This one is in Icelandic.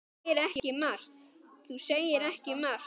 Þú segir ekki margt.